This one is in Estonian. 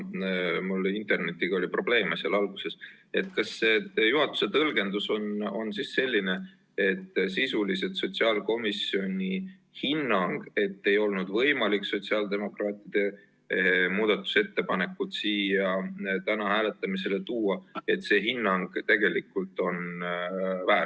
Kuna mul oli alguses internetiga probleeme, siis kas juhatuse tõlgendus on selline, et sotsiaalkomisjoni hinnang, et sotsiaaldemokraatide muudatusettepanekut ei olnud võimalik siia täna hääletusele tuua, on tegelikult väär?